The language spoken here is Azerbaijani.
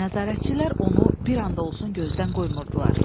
Nəzarətçilər onu bir an da olsun gözdən qoymurdular.